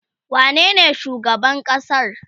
wane ne shugaban ƙasar?